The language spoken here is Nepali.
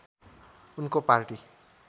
उनको पार्टी